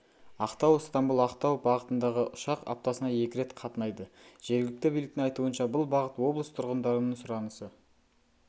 ақтау-ыстамбұл-ақтау бағытындағы ұшақ аптасына екі рет қатынайды жергілікті биліктің айтуынша бұл бағыт облыс тұрғындарының сұранысы